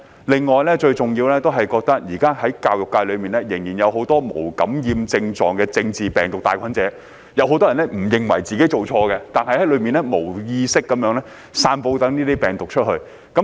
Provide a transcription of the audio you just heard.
另外最重要的是，現時在教育界裏面，仍然有很多無感染症狀的政治病毒帶菌者，有很多人不認為自己做錯，還在裏面無意識地散播這些病毒。